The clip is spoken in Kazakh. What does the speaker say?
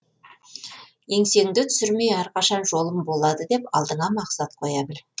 еңсеңді түсірмей әрқашан жолым болады деп алдыңа мақсат қоя біл